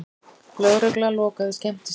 Lögregla lokaði skemmtistað